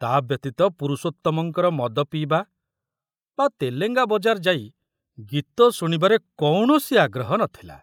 ତା ବ୍ୟତୀତ ପୁରୁଷୋତ୍ତମଙ୍କର ମଦ ପିଇବା ବା ତେଲେଙ୍ଗା ବଜାରରେ ଯାଇ ଗୀତ ଶୁଣିବାରେ କୌଣସି ଆଗ୍ରହ ନଥିଲା